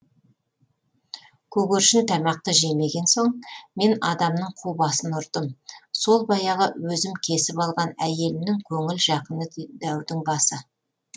көгершін тамақты жемеген соң мен адамның қу басын ұрдым сол баяғы өзім кесіп алған әйелімнің көңіл жақыны дәудің басы